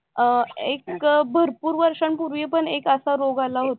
अं एक भरपूर वर्षांपूर्वी पण एक असा रोग आला होता